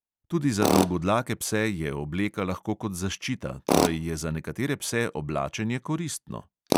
Tudi za dolgodlake pse je obleka lahko kot zaščita, torej je za nekatere pse oblačenje koristno.